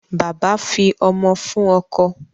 Bàbá fi ọmọ fún ọkọ.